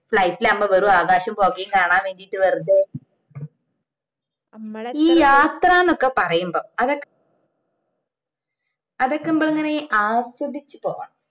flight ഇലാവുമ്പോ കൊറേ ആകാശോം പുകയും കാണാൻ വേണ്ടിട്ട് വെറുതെ ഈ യാത്രാന്നൊക്കെ പറയുമ്പോ അതൊക്കെ അതൊക്കെ നമ്മളിങ്ങനെ ആസ്വദിച് പോണം